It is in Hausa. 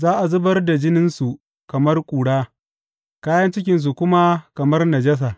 Za a zubar da jininsu kamar ƙura kayan cikinsu kuma kamar najasa.